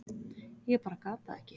Ég bara gat það ekki.